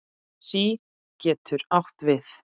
SÍ getur átt við